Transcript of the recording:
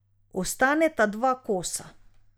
Ostaneta dva kosa.